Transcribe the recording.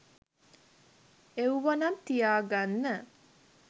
එව්වනම් තියාගන්න